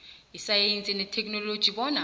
isayensi netheknoloji bona